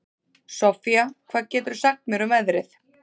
Soffía, hvað geturðu sagt mér um veðrið?